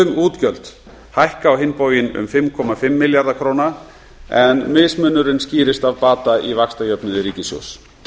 frumútgjöld hækka á hinn bóginn um fimmtíu og fimm milljarða króna en mismunurinn skýrist af bata í vaxtajöfnuði ríkissjóðs